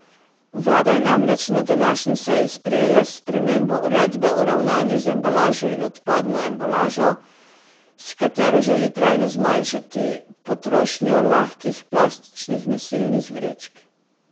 Vlada je namreč na današnji seji sprejela spremembo uredbe o ravnanju z embalažo in odpadno embalažo, s katero želi trajno zmanjšati potrošnjo lahkih plastičnih nosilnih vrečk.